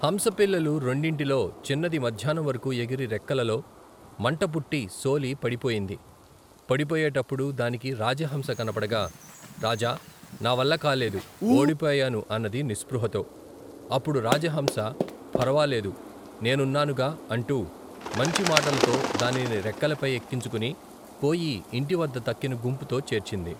హంసపిల్లలు రెండింటిలో చిన్నది మధ్యాహ్నం వరకు ఎగిరి రెక్కలలో మంటపుట్టి సోలి పడిపోయింది పడిపోయేటప్పుడు దానికి రాజహంస కనబడగా రాజా నావల్ల కాలేదు ఓడిపోయాను అన్నది నిస్పృహతో అప్పుడు రాజహంస ఫరవాలేదు నేనున్నానుగా అంటూ మంచి మాటలతో దానిని రెక్కలపై ఎక్కించుకుని పోయి ఇంటివద్ద తక్కిన గుంపుతో చేర్చింది.